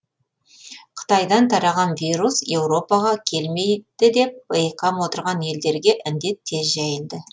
қытайдан тараған вирус еуропаға келмейді деп бейқам отырған елдерге індет тез жайылды